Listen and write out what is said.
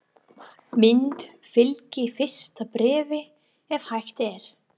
Mynd fylgi fyrsta bréfi ef hægt er.